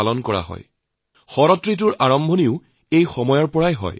ইয়াৰ পৰাই শৰৎ ঋতুৰ আৰম্ভ হয়